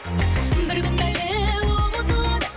бір күн әлі ұмытылады